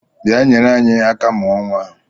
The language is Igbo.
Bịa nyere anyị aka mụọ nnwa a!